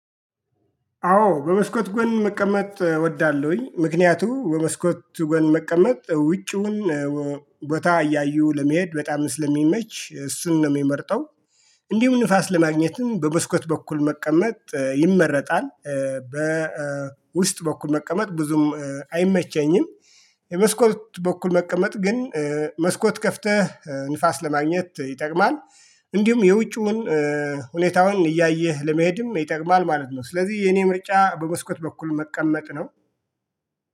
አዎ በመስኮት ጎን መቀመጥ እወዳለሁኝ ምክንያቱ በመስኮት ጎን መቀመጥ ውጩን ቦታ እያዩ ለመሄድ በጣም ስለሚመች እሱን ነው የምመርጠው። እንዲሁም ንፋስ ለማግኘትም በመስኮት በኩል መቀመጥ ይመረጣል። በውስጥ በኩል መቀመጥ ብዙም አይመቸኝም። የመስኮት በኩል መቀመጥ ግን መስኮት ከፍተህ ንፋስ ለማግኘት ይጠቅማል። እንዲሁም የውጩን ሁኔታውን እያየህ ለመሄድም ይጠቅማል ማለት ነው። ስለዚህ የኔ ምርጫ በመስኮት በኩል መቀመጥ ነው